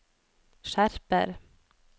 skjerper